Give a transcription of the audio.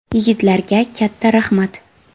Yigitlarga katta rahmat.